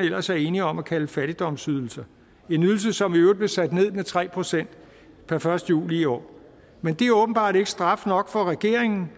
ellers er enige om at kalde fattigdomsydelse en ydelse som i øvrigt blev sat ned med tre procent per første juli i år men det er åbenbart ikke straf nok for regeringen